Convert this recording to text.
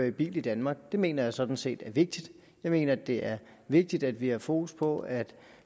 i bil i danmark det mener jeg sådan set er vigtigt jeg mener det er vigtigt at vi har fokus på at